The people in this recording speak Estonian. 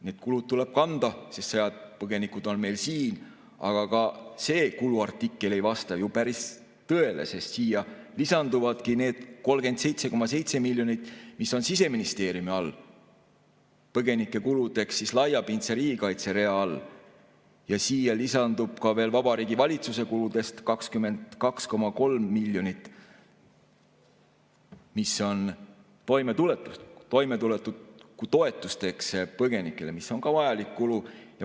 Need kulud tuleb kanda, sest sõjapõgenikud meil siin on, aga ka see kuluartikkel ei vasta ju päris tõele, sest siia lisanduvadki need 37,7 miljonit, mis on Siseministeeriumi kulude all põgenike kuludeks laiapindse riigikaitse rea peal, ja siia lisandub veel Vabariigi Valitsuse kuludest 22,3 miljonit toimetulekutoetusteks põgenikele, mis on ka vajalik kulu.